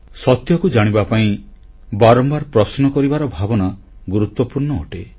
ସତ୍ୟକୁ ଜାଣିବା ପାଇଁ ବାରମ୍ବାର ପ୍ରଶ୍ନ କରିବାର ଭାବନା ଗୁରୁତ୍ୱପୂର୍ଣ୍ଣ ଅଟେ